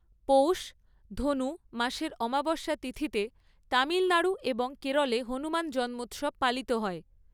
পৌষ ধনু মাসের অমাবস্যা তিথিতে তামিলনাড়ু এবং কেরলে হনুমান জন্মোৎসব পালিত হয়।